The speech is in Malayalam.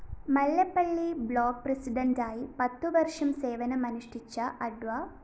മല്ലപ്പള്ളി ബ്ലോക്ക്‌ പ്രസിഡന്റായി പത്തുവര്‍ഷം സേവനമനുഷ്ടിച്ച അഡ്വ